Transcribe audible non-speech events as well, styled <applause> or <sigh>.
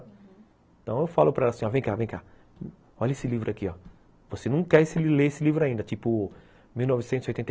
Então eu falo para ela assim, ó, vem cá, vem cá, olha esse livro aqui, ó. Você não quer ler esse livro ainda, tipo, mil novecentos e oitenta <unintelligible>